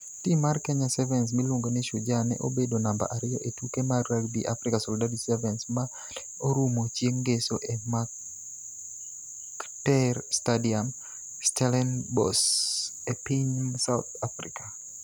Tim mar Kenya Sevens miluongo ni Shujaa ne obedo namba ariyo e tuke mar Rugby Africa Solidarity Sevens ma ne orumo chieng' Ngeso e Mark'tter Stadium, Stellenbosch e piny South Africa.